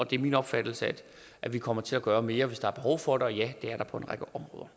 det er min opfattelse at vi kommer til at gøre mere hvis der er behov for det og ja det er der på